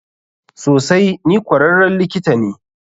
Sosai, ni kwararren likita ne.